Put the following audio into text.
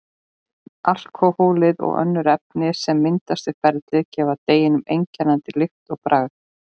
Alkóhólið og önnur efni sem myndast við ferlið gefa deiginu einkennandi lykt og bragð.